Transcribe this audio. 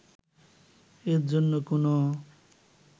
এর জন্য কোনো